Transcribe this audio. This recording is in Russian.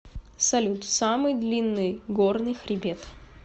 салют самый длинный горный хребет